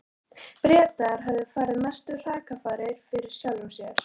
Bretar höfðu farið mestu hrakfarir fyrir sjálfum sér.